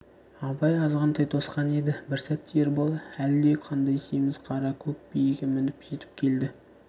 абай азғантай тосқан еді бір сәтте ербол әлде қандай семіз қара көк биеге мініп жетіп келді